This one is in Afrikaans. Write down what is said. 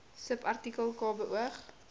subartikel k beoog